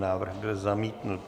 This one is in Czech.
Návrh byl zamítnut.